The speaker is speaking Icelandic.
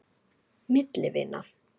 Milli vina.